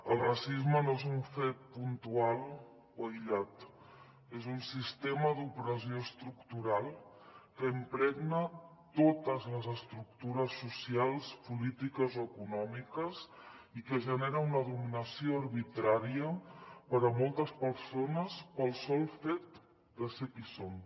el racisme no és un fet puntual o aïllat és un sistema d’opressió estructural que impregna totes les estructures socials polítiques o econòmiques i que genera una dominació arbitrària per a moltes persones pel sol fet de ser qui són